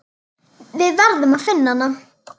Við verðum að finna hann.